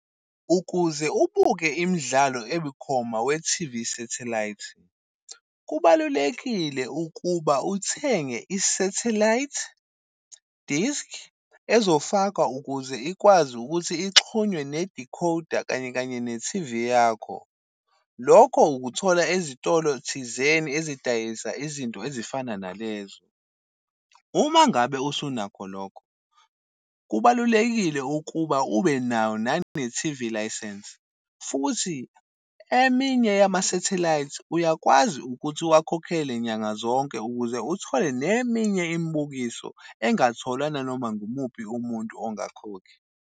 Ukuze ubuke imidlalo ebikhoma we-T_V satellite, kubalulekile ukuba uthenge i-satellite disk ezofakwa ukuze ikwazi ukuthi ixonwe ne-decoder kanye kanye ne-T_V yakho. Lokho ukuthola ezitolo thizeni ezidayisa izinto ezifana nalezo. Uma ngabe usunakho lokho, kubalulekile ukuba ube nayo nane-T_V license. Futhi eminye yama-satellite uyakwazi ukuthi uwakhokhele nyanga zonke ukuze uthole neminye imibukiso engingatholwa nanoma ngumuphi umuntu ongakhokhi.